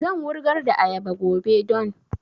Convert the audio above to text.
Zan wurgar da ayaba gobe don